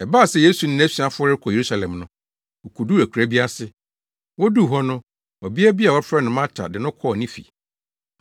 Ɛbaa sɛ Yesu ne nʼasuafo rekɔ Yerusalem no, wokoduu akuraa bi ase. Woduu hɔ no, ɔbea bi a wɔfrɛ no Marta de no kɔɔ ne fi.